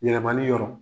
Yɛlɛmali yɔrɔ